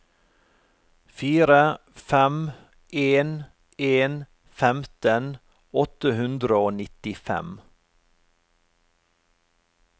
fire fem en en femten åtte hundre og nittifem